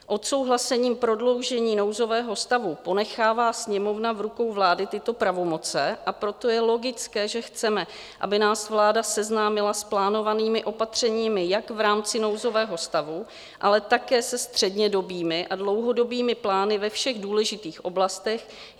Odsouhlasením prodloužení nouzového stavu ponechává Sněmovna v rukou vlády tyto pravomoci, a proto je logické, že chceme, aby nás vláda seznámila s plánovanými opatřeními jak v rámci nouzového stavu, ale také se střednědobými a dlouhodobými plány ve všech důležitých oblastech.